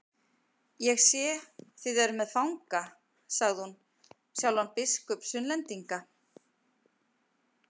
Ég sé þið eruð með fanga, sagði hún, sjálfan biskup Sunnlendinga.